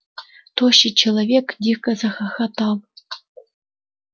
тощий человек дико захохотал